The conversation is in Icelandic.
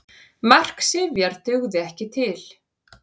Mark Sifjar dugði ekki til